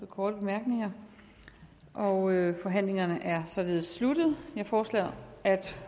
korte bemærkninger og forhandlingen er således sluttet jeg foreslår at